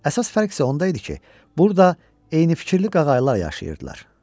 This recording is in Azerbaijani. Əsas fərq isə onda idi ki, burda eynifikirli qağaylar yaşayırdılar.